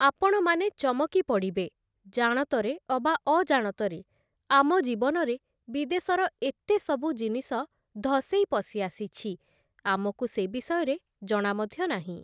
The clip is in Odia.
ଆପଣମାନେ ଚମକି ପଡ଼ିବେ, ଜାଣତରେ ଅବା ଅଜାଣତରେ ଆମ ଜୀବନରେ ବିଦେଶର ଏତେ ସବୁ ଜିନିଷ ଧଷେଇ ପଶି ଆସିଛି, ଆମକୁ ସେ ବିଷୟରେ ଜଣା ମଧ୍ୟ ନାହିଁ ।